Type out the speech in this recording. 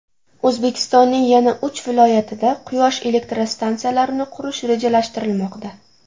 O‘zbekistonning yana uch viloyatida quyosh elektrostansiyalarini qurish rejalashtirilmoqda.